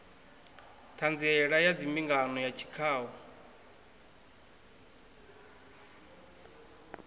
ṱhanziela ya mbingano ya tshikhau